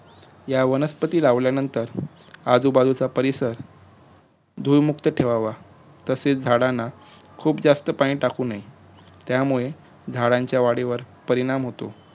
या वनस्पती लावल्यानंतर आजुबाजूचा परिसर धूळमुक्तह ठेवावा तसेच झाडांना खुप जास्त पाणी टाकु नये यामुळे झाडाच्या वाढीवर परिणाम होतो